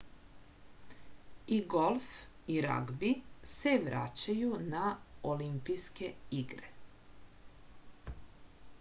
i golf i ragbi se vraćaju na olimpijske igre